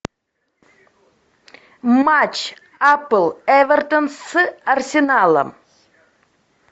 матч апл эвертон с арсеналом